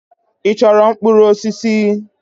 Ị chọrọ mkpụrụ osisi?